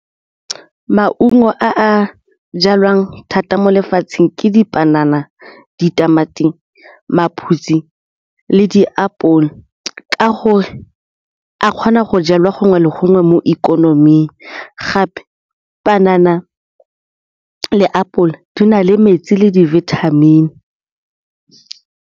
Maungo a a jalwang thata mo lefatsheng ke dipanana, ditamati, maphutsi le diapole ka gore a kgona go jalwa gongwe le gongwe mo ikonoming gape panana le apole di na le metsi le di-vitamin.